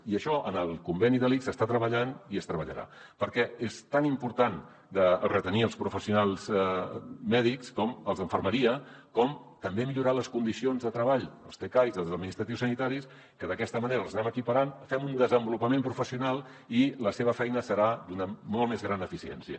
i això en el conveni de l’ics s’està treballant i es treballarà perquè és tan important de retenir els professionals mèdics com els d’infermeria com també millorar les condicions de treball dels tcais i dels administratius sanitaris que d’aquesta manera els anem equiparant fem un desenvolupament professional i la seva feina serà d’una molt més gran eficiència